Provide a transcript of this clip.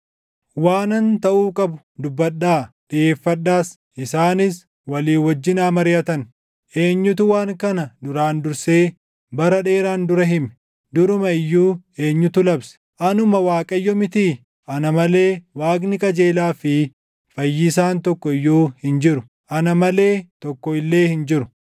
Waanan taʼuu qabu dubbadhaa; dhiʼeeffadhaas; isaanis walii wajjin haa mariʼatan. Eenyutu waan kana duraan dursee bara dheeraan dura hime? Duruma iyyuu eenyutu labse? Anuma Waaqayyo mitii? Ana malee Waaqni qajeelaa fi Fayyisaan tokko iyyuu hin jiru; ana malee tokko illee hin jiru.